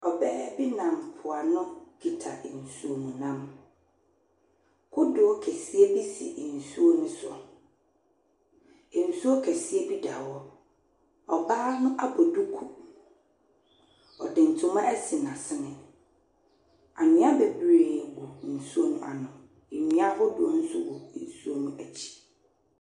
Ɔbaa bi nam mpo ano kita nsuo mu nam. Kodoɔ kɛseɛ bi si nsuo ne so. Nsuo kɛseɛ bi da hɔ. Ɔbaa no abɔ duku. Ɔde ntoma asi n'ase. Anwia bebree wɔ nsuo no ano. Ndua ahodoɔ so gu nsuo no ekyi.